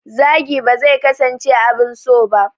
Zagi ba zai kasance abin so ba.